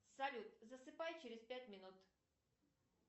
салют засыпай через пять минут